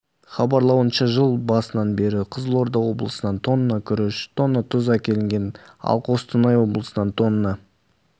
хабарлауынша жыл басынан бері қызылорда облысынан тонна күріш тонна тұз әкелінген ал қостанай облысынан тонна